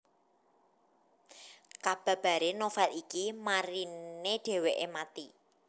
Kababare novel iki marine dheweke mati